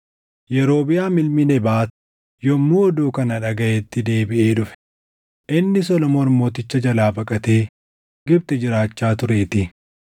Yerobiʼaam ilmi Nebaat yommuu oduu kana dhagaʼetti deebiʼee dhufe; inni Solomoon Mooticha jalaa baqatee Gibxi jiraachaa tureetii.